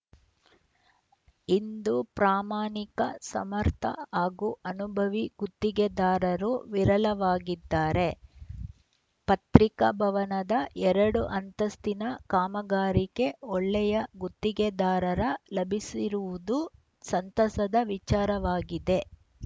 ಇಂದು ಪ್ರಾಮಾಣಿಕ ಸಮರ್ಥ ಹಾಗೂ ಅನುಭವಿ ಗುತ್ತಿಗೆದಾರರು ವಿರಳವಾಗಿದ್ದಾರೆ ಪತ್ರಿಕಾ ಭವನದ ಎರಡು ಅಂತಸ್ತಿನ ಕಾಮಗಾರಿಗೆ ಒಳ್ಳೆಯ ಗುತ್ತಿಗೆದಾರರ ಲಭಿಸಿರುವುದು ಸಂತಸದ ವಿಚಾರವಾಗಿದೆ